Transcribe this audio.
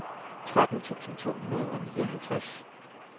tretten tusind to hundrede og nioghalvtreds